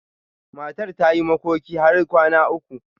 Matar ta yi makoki har kwana uku.